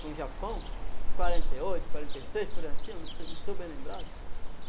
com o Japão, quarenta e oito, quarenta e seis, por aí em cima, não não estou bem lembrado.